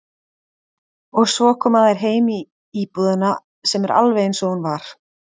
Og svo koma þær heim í íbúðina sem er alveg einsog hún var.